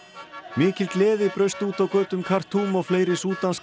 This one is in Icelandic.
mikil gleði braust út á götum Khartoum og fleiri